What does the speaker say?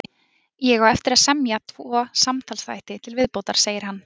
Ég á eftir að semja tvo samtalsþætti til viðbótar, segir hann.